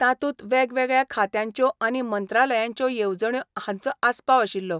तातूंत वेगवेगळ्या खात्यांच्यो आनी मंत्रालयांच्यो येवजण्यो हांचो आसपाव आशिल्लो.